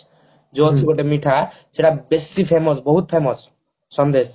ଯୋଉ ଅଛି ଗୋଟେ ମିଠା ସେଟା ବେଶୀ famous ବହୁତ famous ସନ୍ଦେଶ